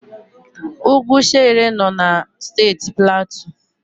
Ugwu Shere nọ na Steeti Platu.